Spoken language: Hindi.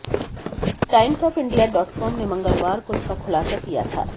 टाइम्स ऑफ इंडिया डॉटकॉम ने मंगलवार को इसका खुलासा किया था